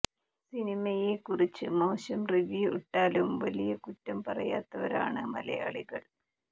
സിനിമയെ കുറിച്ച് മോശം റിവ്യൂ ഇട്ടാലും വലിയ കുറ്റം പറയാത്തവരാണ് മലയാളികൾ